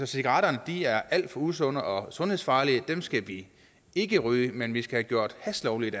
cigaretterne er alt for usunde og sundhedsfarlige og dem skal vi ikke ryge men vi skal have gjort hash lovligt